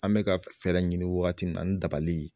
An bɛka fɛɛrɛ ɲini wagati min na ani dabali